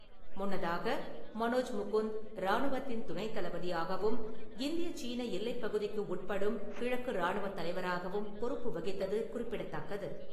முன்னதாக, மனோஜ் முகுந்த் ராணுவத்தின் துணைத் தளபதியாகவும், இந்திய சீன எல்லைப்பகுதிக்கு உட்படும் கிழக்கு ராணுவத் தலைவராகவும் பொறுப்பு வகித்தது குறிப்பிடத்தக்கது.